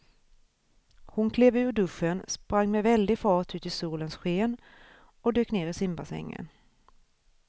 Hon klev ur duschen, sprang med väldig fart ut i solens sken och dök ner i simbassängen.